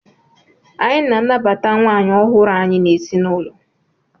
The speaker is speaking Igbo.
Anyị na-anabata nwaanyị ọhụrụ anyị n'ezinụlọ.